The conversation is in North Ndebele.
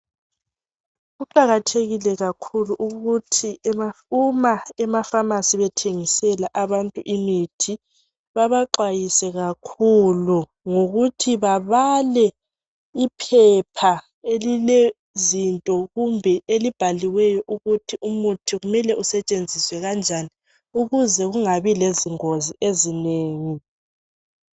Kuqakathekile kakhulu ukuthi uma ema pharmacy bethengisela abantu imithi bebaxhwayise kakhulu ngokuthi babale iphepha elilezinto kumbe elibhaliweyo ukuthi umuthi kumele usetshenziswe kanjani ukuze kungabi lezingozi ezinengi.